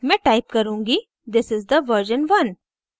मैं type करुँगी: this is the version one